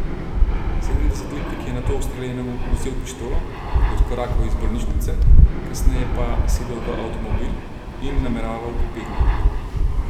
Sedemdesetletnik je nato ustreljenemu vzel pištolo, odkorakal iz bolnišnice, kasneje pa sedel v avtomobil in nameraval pobegniti.